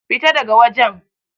Fita da ga wajen!